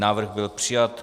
Návrh byl přijat.